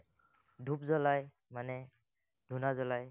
ধুপ জ্বলায়, মানে ধুণা জ্বলায়,